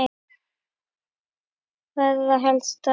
Það er það helsta.